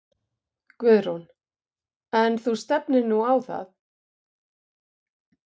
Guðrún: En þú stefnir nú á það?